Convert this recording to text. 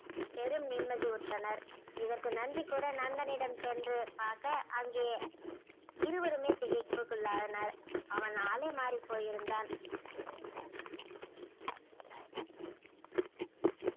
பெரும் நிம்மதியுற்றனர் இதற்கு நன்றி கூற நண்பனிடம் சென்று பார்க்க அங்கேயே இருவருமே திகைப்புக்குள்ளாயினர் அவன் ஆளே மாறி போயிருந்தான்